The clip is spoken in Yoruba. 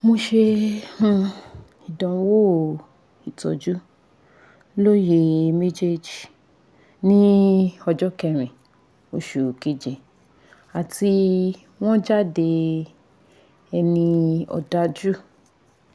mo ṣe um ìdánwò ìtọjú lóyè mejeji ní ọjọ́ kẹrin oṣù keje àti wọ́n jáde ẹni òdájú